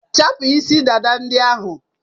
Chapụ isi dada ndị ahụ!